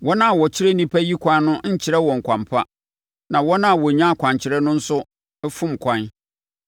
Wɔn a wɔkyerɛ nnipa yi kwan no nnkyerɛ wɔn kwan pa, na wɔn a wɔnya akwankyerɛ no nso fom kwan.